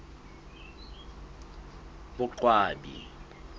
boqwabi